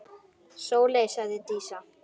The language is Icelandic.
Sóley, sagði Dísa.